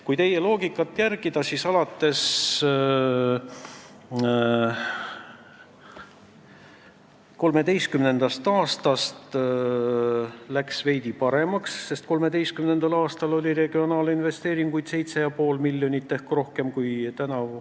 Kui teie loogikat järgida, siis oli 2013. aastal olukord veidi parem, sest siis oli regionaalinvesteeringuteks ette nähtud 7,5 miljonit ehk rohkem kui tänavu.